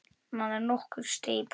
Maður nokkur steig í pontu.